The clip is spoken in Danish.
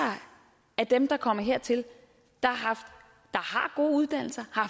af dem der kommer hertil der har gode uddannelser har